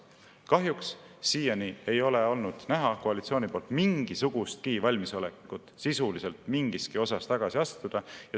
Kahjuks siiani ei ole olnud näha koalitsiooni poolt mingisugustki valmisolekut sisuliselt mingiski osas tagasi astuda.